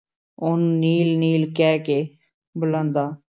ਉਹਨੂੰ ਨੀਲ, ਨੀਲ ਕਹਿ ਕੇ ਬੁਲਾਂਦਾ।